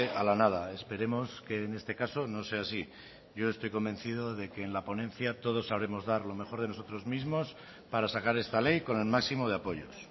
a la nada esperemos que en este caso no sea así yo estoy convencido de que en la ponencia todos sabremos dar lo mejor de nosotros mismos para sacar esta ley con el máximo de apoyos